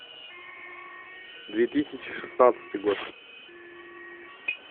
две тысячи шестнадцатый год